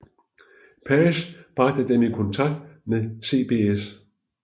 Page bragte dem i kontakt med CBS